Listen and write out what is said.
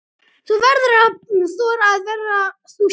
Þú verður að þora að vera þú sjálf.